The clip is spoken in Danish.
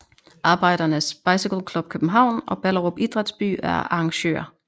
Arbejdernes Bicycle Club København og Ballerup Idrætsby er arrangører